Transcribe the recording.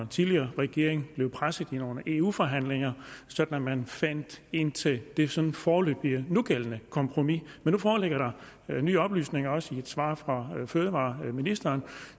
tidligere regering blev presset i nogle eu forhandlinger sådan at man fandt ind til det sådan foreløbige og nugældende kompromis men nu foreligger der nye oplysninger også i et svar fra fødevareministeren